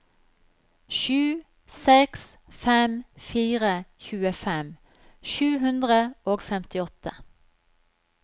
sju seks fem fire tjuefem sju hundre og femtiåtte